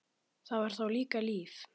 Það var þá líka líf!